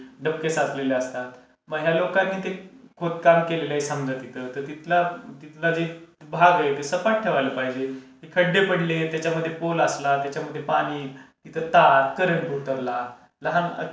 डबके साचलेले असतात, मग ह्या लोकांनी ते खोदकाम केलेलं आहे समज तिथं तर तिथला जे भाग आहे ते सपाट ठेवायला पाहिजे. खड्डे पडले, त्याच्यामध्ये पोल असला, त्याच्यामध्ये पाणी तिथं तार करंट उतरला लहान,